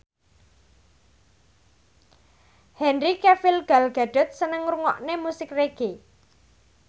Henry Cavill Gal Gadot seneng ngrungokne musik reggae